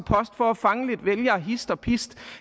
for at fange lidt vælgere hist og pist